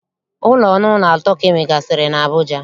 Ụlọ ọnụụlọ atọ ka e nwegasịrị n'Abuja